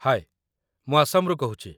ହାଏ ! ମୁଁ ଆସାମରୁ କହୁଛି